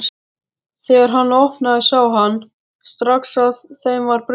Þegar hann opnaði sá hann strax að þeim var brugðið.